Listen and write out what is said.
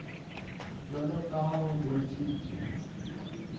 jwalo ka ha ho bontshitswe